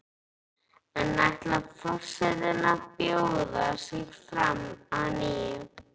En ætlar forsetinn að bjóða sig fram að nýju?